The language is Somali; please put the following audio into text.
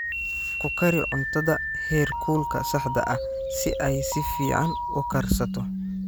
Ku kari cuntada heerkulka saxda ah si ay si fiican u karsato.